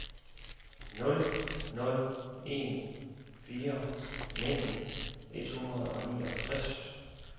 nul nul en fire nitten et hundrede og niogtres